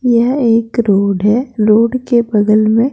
यह एक है के बगल में।